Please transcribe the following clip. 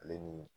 Ale ni